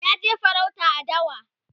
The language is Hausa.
ya je farauta a dawa